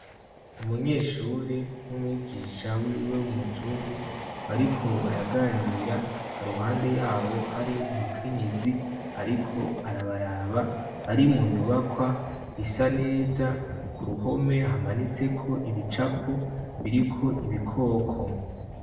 umunyeshure n'umwigisha w'iwe w'umuzungu bariko baraganiraha ruhande yabo hari umukenyezi ariko arabaraba bari mu mnyubakwa isa neza ku mruhome hamanitseko ibicapo biriko ibikoko